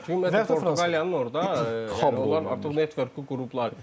Çünki Portuqaliyanın orda onlar artıq netvörkü qurublar.